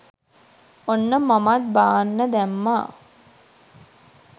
ඔන්න මමත් බාන්න දැම්මා